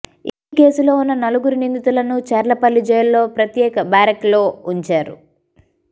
ఈ కేసులో ఉన్న నలుగురు నిందితులను చర్లపల్లి జైలులో ప్రత్యేక బ్యారక్లో ఉంచారు